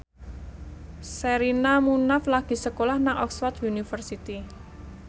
Sherina Munaf lagi sekolah nang Oxford university